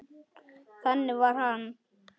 Þannig var hann.